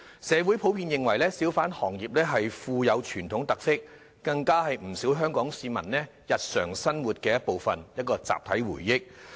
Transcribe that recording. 社會普遍認為小販行業富有傳統特色，更是不少香港市民日常生活的一部分，是一項集體回憶。